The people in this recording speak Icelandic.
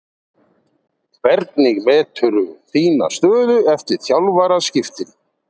Hvernig meturðu þína stöðu eftir þjálfaraskiptin?